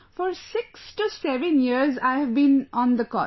For 67 years I've been on the cot